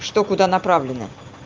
что куда направлена